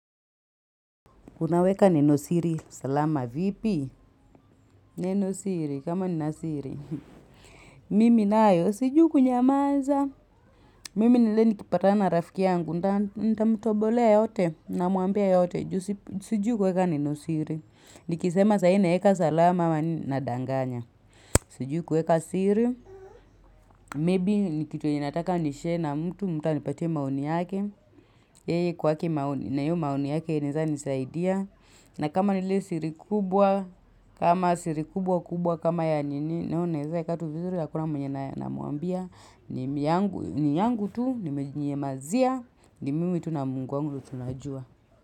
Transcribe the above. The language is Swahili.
Unaweka neno siri, salama vipi? Neno siri, kama nina siri. Mimi nayo, sijui kunyamaza. Mimi ni ile nikipatana na rafiki yangu, nita, nitamtobolea yote, namwambia yote. Sijui kuweka neno siri. Nikisema sai naeka salama nadanganya. Siju kuweka siri. Maybe, ni kitu enye nataka nishare na mtu, mtu anipate maoni yake. Yeye kwake na iyo maoni yake, inaeza nisaidia. Na kama ni ile siri kubwa, kama siri kubwa kubwa, kama ya nini, nayo naeza eka tu vizuri hakuna mwenye namwambia, ni yangu tu, nimejinyamazia, ni mimi tu na mungu wangu tu ndio tunajua.